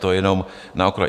To jenom na okraj.